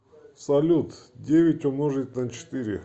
салют девять умножить на четыре